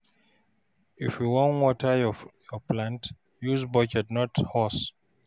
if you wan water yur plant, use bucket and not hose